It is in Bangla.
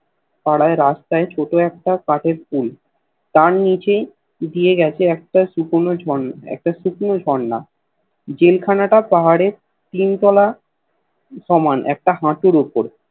পাড়ায় রাস্তায় ছোট্ট একটা কাঠের পুল তার নীচে দিয়েই গেছে অক্ত শুকনো একটা শুকোনো ঝর্ণা জেল খানা টা পাহাড়ের তিন তোলা সমান একটা হাটুর ওপর